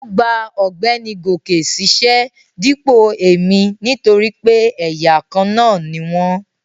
Ó gba ọ̀gbẹ́ni Goke ṣíṣẹ́ dípò èmi nítorí pé ẹ̀yà kan ni wọ́n